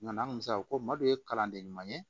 Ɲina an kun se ko madu ye kalanden ɲuman ye